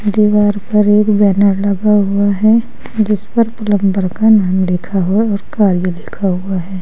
दीवार पर एक बैनर लगा हुआ है जिस पर प्लंबर का नाम लिखा हुआ और कार्य लिखा हुआ है।